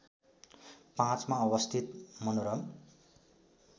५ मा अवस्थित मनोरम